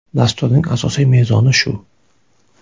Dasturning asosiy mezoni shu.